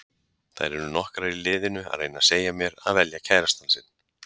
Þær eru nokkrar í liðinu að reyna að segja mér að velja kærastann sinn.